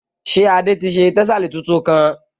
Ṣé Adé ti ṣe tẹ́sàlí tuntun kán?